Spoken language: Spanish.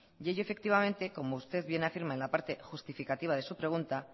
ello efectivamente como usted bien afirma en la parte justificativa de su pregunta